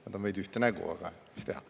Nad on veidi ühte nägu, aga mis teha.